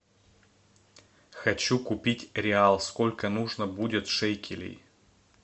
хочу купить реал сколько нужно будет шекелей